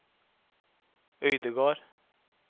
Øydegard